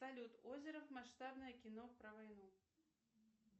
салют озеров масштабное кино про войну